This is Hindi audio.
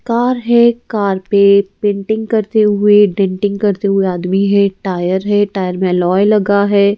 कार है कार पे पेंटिंग करते हुए डेटिंग करते हुए आदमी है टायर है टायर में अलौय लगा है।